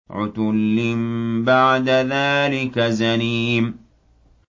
عُتُلٍّ بَعْدَ ذَٰلِكَ زَنِيمٍ